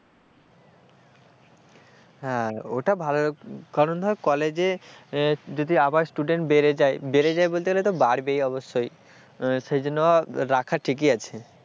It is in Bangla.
হ্যাঁ ওটা ভালো কারণ ধর কলেজে যদি আবার student বেড়ে যায় বেড়ে যায় বলতে গেলে তো বাড়বেই অবশ্যই। সেইজন্য রাখা ঠিকই, আছে।